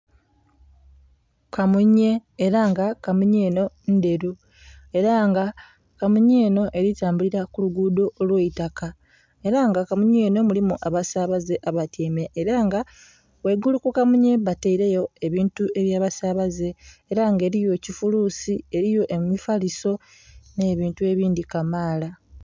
Kamunye ela nga kamunye enho ndheru. Ela nga kamunye enho eli tambulila ku luguudho olw'eitaka. Ela nga kamunye enho mulimu abasaabaze abatyaime. Ela nga ghaigulu ku kamunye bataileyo ebintu eby'abasaabaze, ela nga eliyo ekifuluusi, eliyo emifaliso, nh'ebintu ebindhi kamaala.